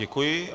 Děkuji.